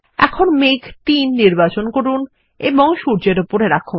এখন মেঘ ৩ নির্বাচন করুন এবং সূর্যের উপরে রাখুন